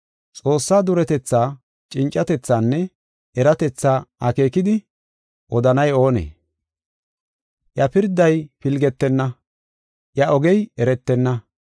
Xoossaa duretetha, cincatethaanne eratethaa akeekidi odanay oonee? Iya pirday pilgetenna, iya ogey eretenna.